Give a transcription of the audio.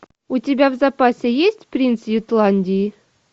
у тебя в запасе есть принц ютландии